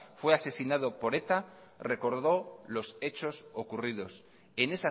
fue asesinado por eta recordó los hechos ocurridos en